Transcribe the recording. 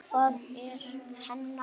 Það eru hennar konur.